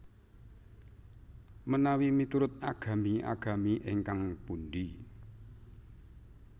Menawi miturut agami agami ingkang pundi